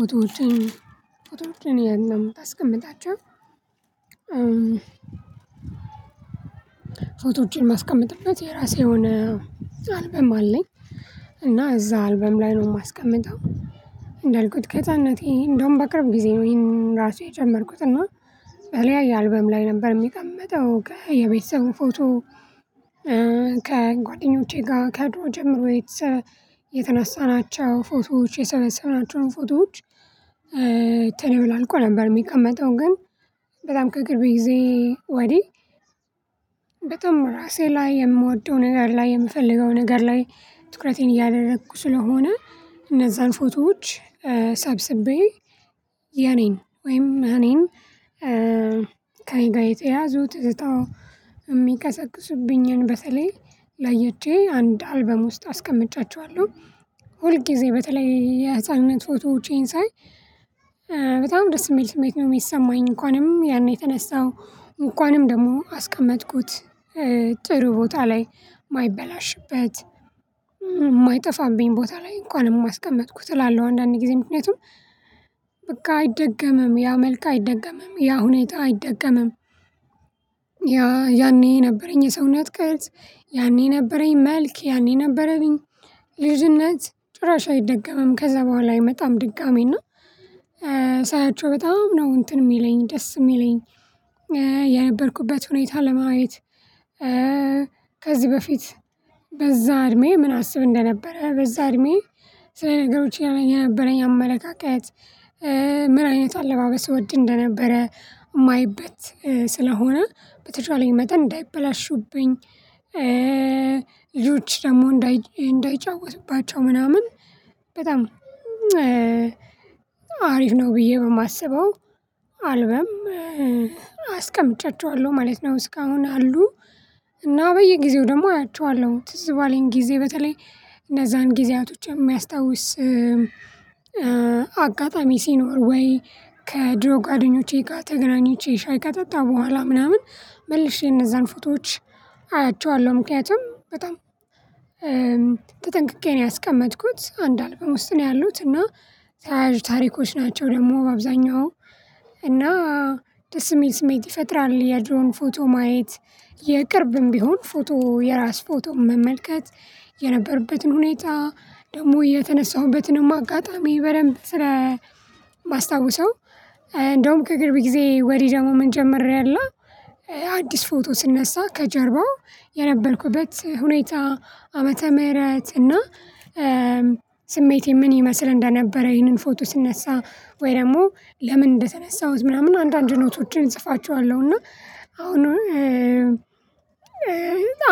ፎቶዎችን ፎቶዎችን የት ነው የምታስቀምጣቸው? ፎቶዎችን ማስቀመጥበት የራሴ የሆነ አልበም አለኝ እና እዛ አልበም ላይ ነው የማስቀምጠው። እንዳልኩት ከህፃንነቴ እንደውም በቅርብ ጊዜ ነው ይሄን ራሱ የጀመርኩት እና በተለያየ አልበም ላይ ነበር የሚቀመጠው የቤተሰቡ ፎቶ ከጓደኞቼ ጋር ከድሮ ጀምሮ የተነሳናቸው ፎቶዎች የሰበሰብናቸውን ፎቶዎች። ተደበላልቆ ነበር የሚቀመጠው ግን በጣም ከቅርብ ጊዜ ወዲህ በጣም ራሴ ላይ የምወደው ነገር ላይ የምፈልገው ነገር ላይ ትኩረቴን እያደረኩ ስለሆነ እነዛን ፎቶዎች ሳብስቤ የኔን ወይም እኔን ከኔ ጋር የተያዙት እጣው የሚቀሰቅሱብኝን በተለይ ለየች አንድ አልበም ውስጥ አስቀምጫቸዋለሁ። ሁል ጊዜ በተለይ የህፃንነት ፎቶዎቼን ሳይ በጣም ደስ የሚል ስሜት ነው የሚሰማኝ እንኳንም ያኔ የተነሳው እንኳንም ደግሞ አስቀመጥኩት ጥሩ ቦታ ላይ የማይበላሽበት የማይጠፋብኝ ቦታ ላይ እንኳን አስቀመጥኩ እላለሁ አንዳንዴ ጊዜ ምክንያቱም በቃ አይደገምም ያ መልካ አይደገምም ያ ሁኔታ አይደገምም። ያ ያኔ ነበረኝ የሰውነት ቅርጽ ያኔ ነበረኝ መልክ ያኔ ነበረኝ ልጅነት ጭራሽ አይደገምም ከዛ በኋላ አይመጣም ድጋሚ እና ሳያቸው በጣም ነው እንትን የሚለኝ ደስ የሚለኝ። የነበርኩበት ሁኔታ ለማየት ከዚህ በፊት በዛ እድሜ ምን አስብ እንደነበረ በዛ እድሜ ስለ ነገሮች የነበረኝ አመለካከት? ምን አይነት አለባበስ እወድ እንደነበረ ማይበት ስለሆነ በተቻለኝ መጠን እንዳይበላሹብኝ። ልጆች ደግሞ እንዳይጫወቱባቸው ምናምን በጣም አሪፍ ነው ብዬ በማስበው አልበም አስቀምጫቸዋለሁ ማለት ነው። እስካሁን አሉ እና በየጊዜው ደግሞ አያቸዋለሁ ትዝ ባለኝ ጊዜ በተለይ እነዛን ጊዜያቶች የሚያስታውስ አጋጣሚ ሲኖር ወይ ከድሮ ጓደኞቼ ጋር ተገናኝቼ ሻይ ከጠጣሁ በኋላ ምናምን መልሼ እነዛን ፍቶዎች አያቸዋለሁ ምክንያቱም በጣም ተጠንቅቄ ነው ያስቀመጥኩት አንድ አልበም ውስጥ ነው ያሉት እና። ታሪኮች ናቸው ደግሞ አብዛኛው እና ደስ የሚል ስሜት ይፈጥራል የድሮን ፎቶ ማየት የቅርብም ቢሆን ፎቶ የራስ ፎቶ መመልከት የነበርበትን ሁኔታ ደግሞ የተነሳሁበትንም አጋጣሚ በደንብ ስለማስታውሰው። ከግርብ ጊዜ ወዲህ ደግሞ ምን ጀመሪያለሁ አዲስ ፎቶ ስነሳ ከጀርባው የነበልኩበት ሁኔታ ዓመተ ምህረት እና ስሜቴ ምን ይመስል እንደነበረ ይሄንን ፎቶ ስነሳ ወይ ደግሞ ለምን እንደተነሳሁት ምናምን አንዳንድ ኖቶችን እጽፋቸዋለሁ። እና አሁን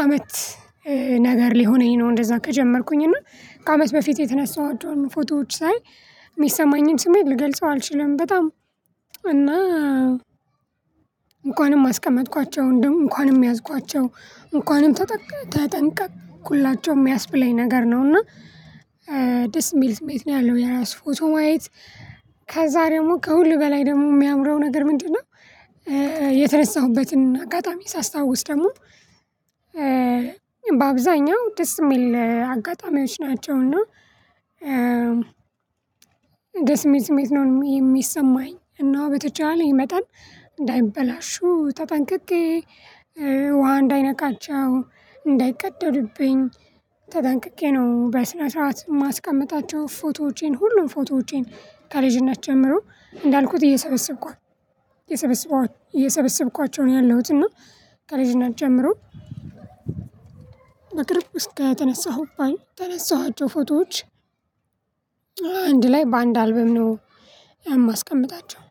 አመት ነገር ሊሆነኝ ነው እንደዛ ከጀመርኩኝ እና ከአመት በፊት የተነሳኋቸውን ፎቶዎች ሳይ የሚሰማኝን ስሜት ልገልጸው አልችልም። በጣም እና እንኳንም አስቀመጥኳቸው እንደው እንኳንም ያዝኳቸው እንኳንም ተጠንቀቅ ተጠንቀቅኩላቸው የሚያስብለኝ ነገር ነው። እና ደስ የሚል ስሜት ነው ያለው የራሱ ፎቶ ማየት ከዛ ደግሞ ከሁሉ በላይ ደግሞ የሚያምረው ነገር ምንድነው? የተነሳሁበትን አጋጣሚ ሳስታውስ ደግሞ በአብዛኛው ደስ የሚል አጋጣሚዎች ናቸው። እና ስሜት ስሜት ነው የሚሰማኝ እና በተቻለኝ መጠን እንዳይበላሹ ተጠንቅቄ ውሃ እንዳይነካቸው እንዳይቀደዱብኝ ተጠንቅቄ ነው በስነ ስርዓት የማስቀምጣቸው ፎቶዎቼን ሁሉም ፎቶዎቼን ተልዥነት ጀምሮ እንዳልኩት እየሰበሰብኳቸው እየሰበሰብኳቸው ነው ያለሁት። እና ከልጅነት ጀምሮ በቅርብ ውስጥ ጋር የተነሳሁባኝ ተነሳኋቸው ፎቶዎች አንድ ላይ በአንድ አልበም ነው ያማስቀምጣቸው።